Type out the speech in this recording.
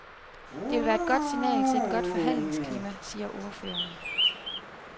Det vil være et godt signal til et godt forhandlingsklima, siger ordføreren.